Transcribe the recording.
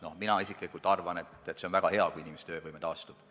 No mina isiklikult arvan, et on väga hea, kui inimese töövõime taastub.